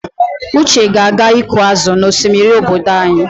Uche ga-aga ịkụ azụ n'osimiri obodo anyị.